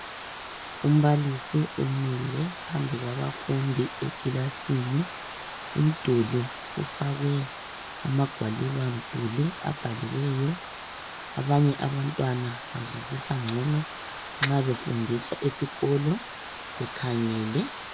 Umbalisi umile phambi kwabafundi ekilasini umduli ufakwe amagwalibamduli abhaliweyo, abanye abantwana bazwisisa ngcono nxa befundiswa esikolo bekhangele.